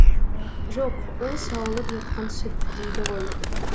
жоқ ол сауылып жатқан сүт дейді ғой